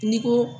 N'i ko